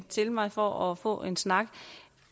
til mig for at få en snak